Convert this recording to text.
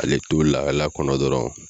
Ale to lahala kɔnɔ dɔrɔn